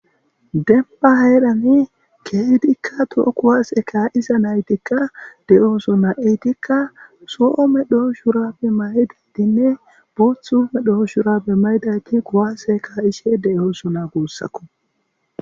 Demba heedhani keedikka to'o kuwaase ka isa naytikka de'ooso na'itikka soo me doo shurapbe may'i didinne buothume dhooshurapbe maydayki kowaseka ishe de'ooso naa guussako.